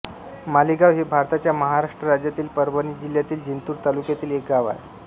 मालेगाव हे भारताच्या महाराष्ट्र राज्यातील परभणी जिल्ह्यातील जिंतूर तालुक्यातील एक गाव आहे